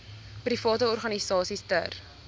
private organisasies ter